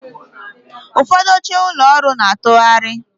Ụfọdụ oche ụlọ ọrụ na-atụgharị